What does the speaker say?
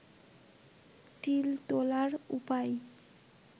তিল তোলার উপায়